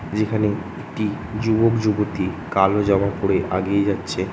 যেখানে একটি যুবক যুবতী কালো জামা পরে আগিয়ে যাচ্ছে।